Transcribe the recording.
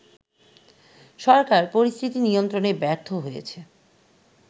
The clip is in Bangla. সরকার পরিস্থিতি নিয়ন্ত্রণে ব্যর্থ হয়েছে